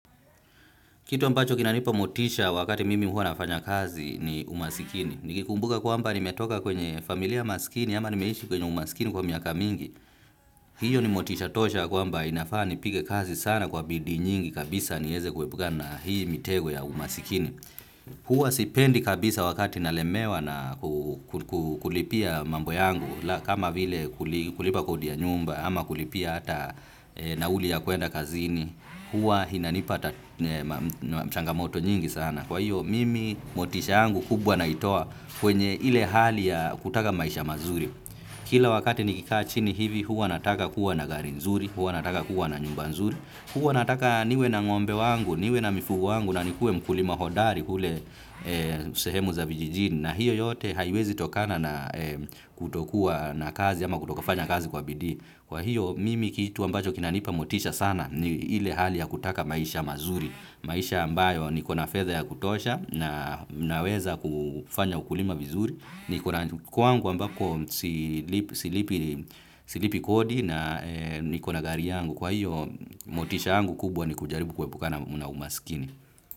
Kitu ambacho kinanipa motisha wakati mimi huwa nafanya kazi ni umasikini. Nikikumbuka kwamba nimetoka kwenye familia masikini ama nimeishi kwenye umasikini kwa miaka mingi, hiyo ni motisha tosha kwamba inafaa nipige kazi sana kwa bidii nyingi kabisa niweze kuepuka na hii mitego ya umasikini. Huwa sipendi kabisa wakati nalemewa na kulipia mambo yangu kama vile kulipa kodi ya nyumba ama kulipia hata nauli ya kuenda kazini. Huwa inanipata changamoto nyingi sana. Kwa hiyo, mimi, motisha yangu kubwa naitoa kwenye ile hali ya kutaka maisha mazuri. Kila wakati nikikaa chini hivi, huwa nataka kuwa na gari nzuri, huwa nataka kuwa na nyumba nzuri, huwa nataka niwe na ng'ombe wangu, niwe na mifugo wangu, na nikue mkulima hodari kule sehemu za vijijini. Na hiyo yote haiwezi tokana na kutokuwa na kazi, ama kutokufanya kazi kwa bidii. Kwa hiyo, mimi kitu ambacho kinanipa motisha sana, ni ile hali ya kutaka maisha mazuri, maisha ambayo niko na fedha ya kutosha na naweza kufanya ukulima vizuri, niko na kwangu ambako silipi kodi na niko na gari yangu, kwa hiyo motisha yangu kubwa ni kujaribu kuepukana na umasikini.